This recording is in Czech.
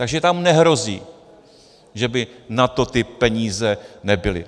Takže tam nehrozí, že by na to ty peníze nebyly.